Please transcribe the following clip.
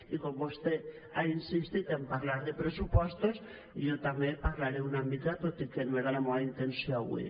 i com que vostè ha insistit a parlar de pressupostos jo també en parlaré una mica tot i que no era la meua intenció avui